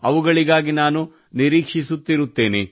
ಅವುಗಳಿಗಾಗಿ ನಾನು ನಿರೀಕ್ಷಿಸುತ್ತಿರುತ್ತೇನೆ